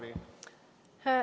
Aeg on läbi.